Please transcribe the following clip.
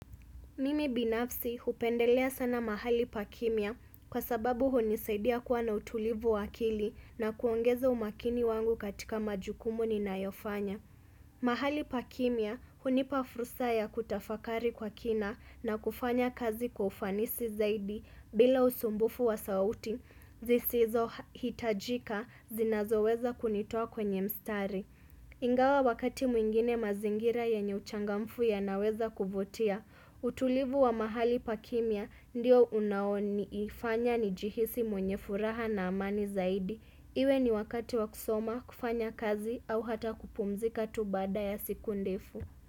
Mimi binafsi hupendelea sana mahali pa kimya kwa sababu hunisaidia kuwa na utulivu wa akili na kuongeza umakini wangu katika majukumu ninayo fanya. Mahali pa kimya hunipa fursa ya kutafakari kwa kina na kufanya kazi kwa ufanisi zaidi bila usumbufu wa sauti zisizo hitajika zinazo weza kunitoa kwenye mstari. Ingawa wakati mwingine mazingira yenye uchangamfu yanaweza kuvutia, utulivu wa mahali pa kimya ndio unao nifanya nijihisi mwenye furaha na amani zaidi. Iwe ni wakati wa kusoma kufanya kazi au hata kupumzika tu baada ya siku ndefu.